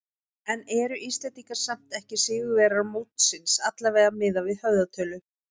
En eru Íslendingar samt ekki sigurvegarar mótsins, allavega miðað við höfðatölu?